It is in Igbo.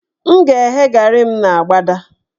M ga-eghe garị n' agbada